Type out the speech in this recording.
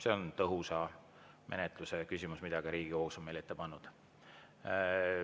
See on tõhusa menetluse huvides, mida ka Riigikohus on meile ette pannud.